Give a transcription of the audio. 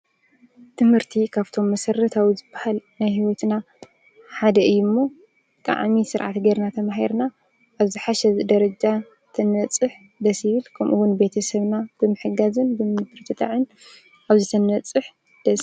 ትምህርቲ ካብቶም መሰረታዊ ዝበሃል ናይ ሂወትና ሓደ እዩ ሞ ብጣዕሚ ስርዓት ገይርና ተማሂርና አብ ዝሓሸ ደረጃ እንትንበፅሕ ደስ ይብል ከምኡ እውን ቤተ ሰብና ብምሕጋዝን ብምብርትታዕን አብዚ ተንበፅሕ ደስ ይብል።